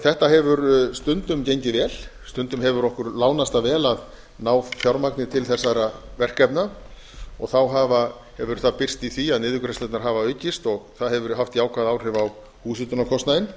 þetta hefur stundum gengið vel stundum hefur okkur ásamt það vel að ná fjármagni til þessara verkefna þá hefur það birst í því að niðurgreiðslurnar hafa aukist og það hefur haft jákvæð áhrif á húshitunarkostnaðinn